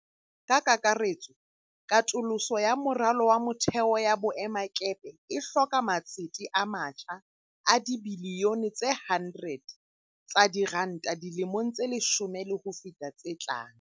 Ka kakaretso, katoloso ya moralo wa motheo ya boemakepe e hloka matsete a matjha a dibiliyone tse 100 tsa diranta dilemong tse leshome le ho feta tse tlang.